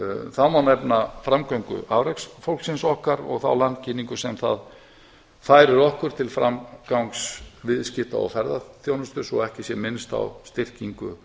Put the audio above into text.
þá má nefna framgöngu afreksfólksins okkar og þá landkynningu sem það færir okkur til framgangs viðskipta og ferðaþjónustu svo ekki sé minnst á styrkingu